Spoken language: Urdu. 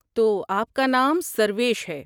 تو آپ کا نام سرویش ہے۔